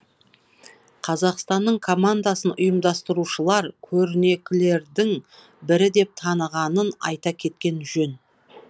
қазақстанның командасын ұйымдастырушылар көрнекілердің бірі деп танығанын айта кеткен жөн